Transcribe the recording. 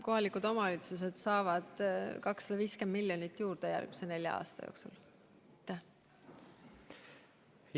Kohalikud omavalitsused saavad järgmisel neljal aastal 250 miljonit eurot juurde.